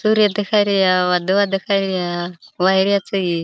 सूर्य देखाई रया वादला देखाई रया वायरा छई.